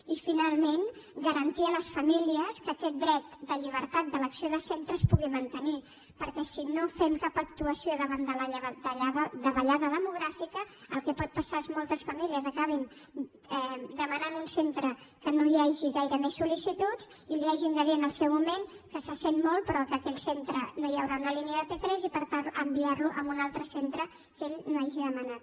i finalment garantir a les famílies que aquest dret de llibertat d’elecció de centres es pugui mantenir perquè si no fem cap actuació davant de la davallada demogràfica el que pot passar és que moltes famílies acabin demanant un centre que no hi hagi gaire més sol·licituds i els hagin de dir en el seu moment que se sent molt però que en aquell centre no hi haurà una línia de p3 i per tant enviar les a un altre centre que ells no hagin demanat